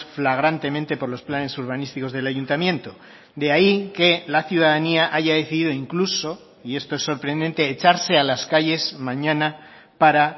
flagrantemente por los planes urbanísticos del ayuntamiento de ahí que la ciudadanía haya decidido incluso y esto es sorprendente echarse a las calles mañana para